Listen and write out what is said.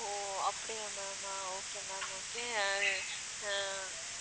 ஓ அப்படியா ma'am okay ma'am okay அ